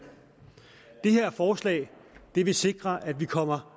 det her forslag vil sikre at vi kommer